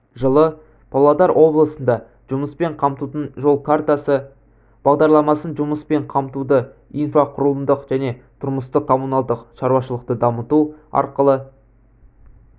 жылы павлодар облысында жұмыспен қамтудың жол картасы бағдарламасының жұмыспен қамтуды инфрақұрылымды және тұрмыстық-коммуналдық шаруашылықты дамыту арқылы